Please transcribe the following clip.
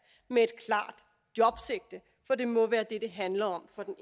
med et klart jobsigte for det må være det det handler om for den